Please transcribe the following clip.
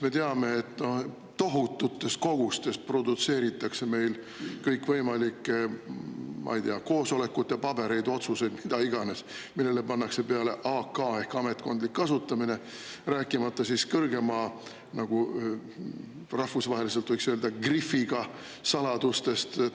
Me teame, et meil produtseeritakse tohututes kogustes kõikvõimalikke koosolekute pabereid, otsuseid, mida iganes, millele pannakse peale "AK" ehk "ametkondlikuks kasutamiseks", rääkimata kõrgema, rahvusvahelise "grifiga" saladustest.